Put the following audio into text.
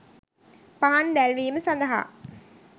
පහන් දැල්වීම සඳහා